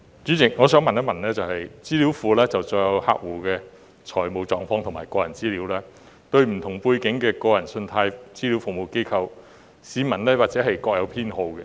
主席，資料庫載有客戶的財務狀況和個人資料，而對於不同背景的個人信貸資料服務機構，市民或會各有偏好。